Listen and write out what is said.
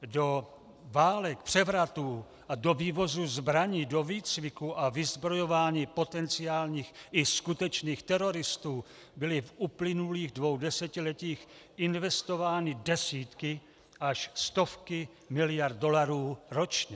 Do válek, převratů a do vývozu zbraní, do výcviku a vyzbrojování potenciálních i skutečných teroristů byly v uplynulých dvou desetiletích investovány desítky až stovky miliard dolarů ročně.